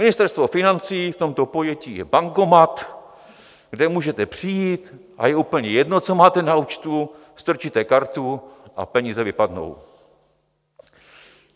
Ministerstvo financí v tomto pojetí je bankomat, kde můžete přijít a je úplně jedno, co máte na účtu, strčíte kartu a peníze vypadnou.